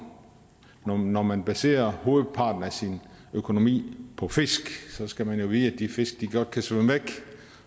når man baserer hovedparten af sin økonomi på fisk skal man jo vide at de fisk godt kan svømme væk